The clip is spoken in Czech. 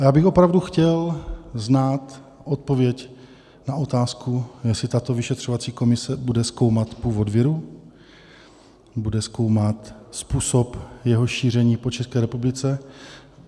A já bych opravdu chtěl znát odpověď na otázku, jestli tato vyšetřovací komise bude zkoumat původ viru, bude zkoumat způsob jeho šíření po České republice.